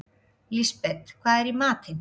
Lisbeth, hvað er í matinn?